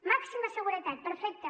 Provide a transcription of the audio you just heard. màxima seguretat perfecte